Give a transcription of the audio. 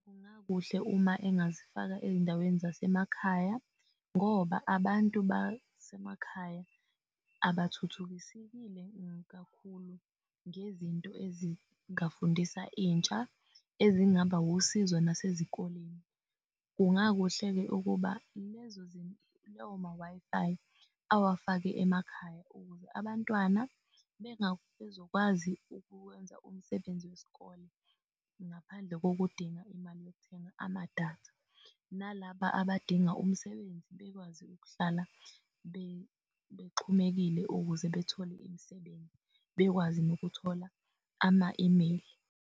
Kungakuhle uma engazifaka ezindaweni zasemakhaya ngoba abantu basemakhaya abathuthukisekile kakhulu ngezinto ezingafundisa intsha ezingaba wusizo nasezikoleni. Kungakuhle-ke ukuba lowo ma-Wi-Fi awafake emakhaya ukhuze abantwana bezokwazi ukuwenza umsebenzi wesikole ngaphandle kokudinga imali yokuthenga ama-data. Nalaba abadinga umsebenzi bekwazi ukuhlala bexhumekile ukuze bethole imisebenzi bekwazi nokuthola ama-email.